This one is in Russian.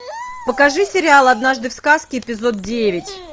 покажи сериал однажды в сказке эпизод девять